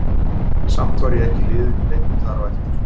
Samt var ég ekki í liðinu í leiknum þar á eftir.